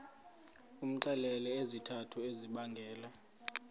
umxelele izizathu ezibangela